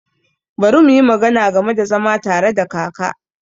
Bari muyi magana game da zama tare da kaka.